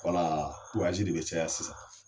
de bɛ caya sisan